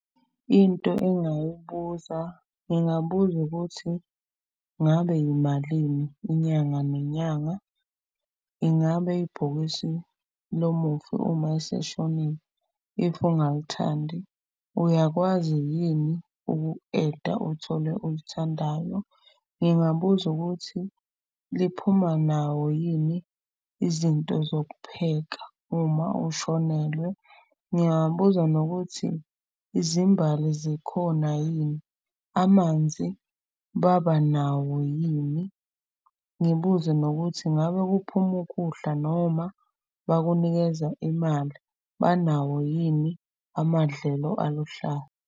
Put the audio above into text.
Into engingayibuza ngingabuza ukuthi, ngabe imalini inyanga nenyanga? Ingabe ibhokisi lomufi uma eseshonile if ungalithandi uyakwazi yini uku-add-a uthole olithandayo? Ngingabuza ukuthi liphuma nawo yini izinto zokupheka uma ushonelwe? Ngingabuza nokuthi, izimbali zikhona yini, amanzi babanawo yini? Ngibuze nokuthi, ngabe kuphuma ukudla noma bakunikeza imali? Banawo yini amadlelo aluhlaza?